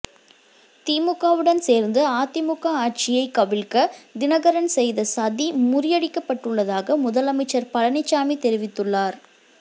திமுகவுடன் சேர்ந்து அதிமுக ஆட்சியை கவிழ்க்க தினகரன் செய்த சதி முறியடிக்கப் பட்டு உள்ளதாக முதலமைச்சர் பழனிச்சாமி தெரிவித்துள்ளார்